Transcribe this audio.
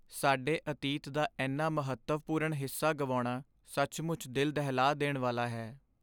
ਸਾਡੇ ਅਤੀਤ ਦਾ ਇੰਨਾ ਮਹੱਤਵਪੂਰਨ ਹਿੱਸਾ ਗੁਆਉਣਾ ਸੱਚਮੁੱਚ ਦਿਲ ਦਹਿਲਾ ਦੇਣ ਵਾਲਾ ਹੈ।